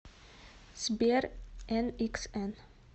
сбер эниксэн